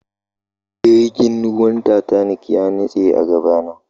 jirgin wuran titanic yanitse agabana